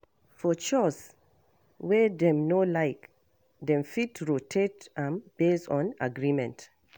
For chores wey dem no like, dem fit rotate am based on agreement